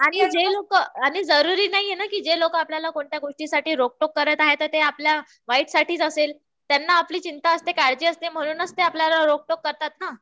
आणि जे लोकं जरुरी नाहीये ना कि जे लोकं आपल्याला कोणत्या गोष्टीसाठी रोकटोक करत आहे तर ते आपल्या वाईटसाठीच असेल. त्यांना आपली चिंता असते. काळजी असते. म्हणूनच ते आपल्याला रोकटोक करतात ना.